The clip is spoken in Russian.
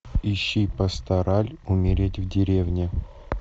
ищи пастораль умереть в деревне